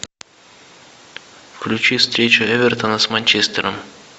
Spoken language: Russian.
включи встречу эвертона с манчестером